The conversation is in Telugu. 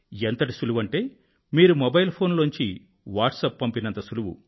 ఎంత సులువంటే మీరు మొబైల్ ఫోన్ లోంచి వాట్సప్ పంపినంత సులువు